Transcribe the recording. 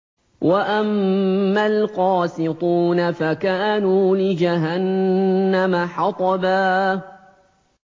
وَأَمَّا الْقَاسِطُونَ فَكَانُوا لِجَهَنَّمَ حَطَبًا